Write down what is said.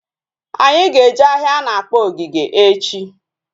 Anyị ga eje ahịa a na-akpọ Ogige echi